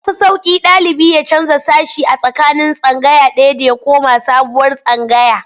Ya fi sauƙi ɗalibi ya canja sashe a tsakanin tsangaya ɗaya da ya koma sabuwar tsangaya.